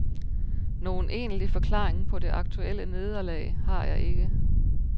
Nogen egentlig forklaring på det aktuelle nederlag har jeg ikke.